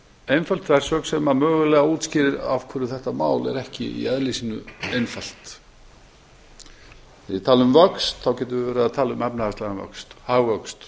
einföld þversögn sem mögulega útskýrir af hverju þetta mál er ekki í eðli sínu einfalt þegar við tölum um vöxt getum við verið að tala um efnahagslegan vöxt hagvöxt